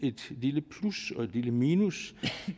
et lille plus og et lille minus